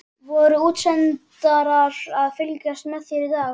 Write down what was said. Voru útsendarar að fylgjast með þér í dag, veistu það?